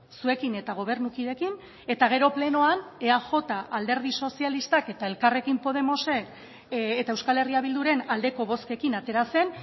zuekin eta gobernukideekin eta gero plenoan eajk alderdi sozialistak eta elkarrekin podemosek eta euskal herria bilduren aldeko bozkekin atera zen